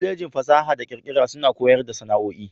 Kwallejin fasaha da kirkira suna koyar da sana'o'i.